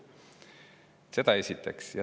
Seda esiteks.